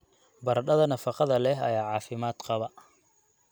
Baradhada nafaqada leh ayaa caafimaad qaba.